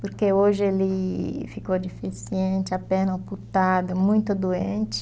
Porque hoje ele ficou deficiente, a perna ocultada, muito doente.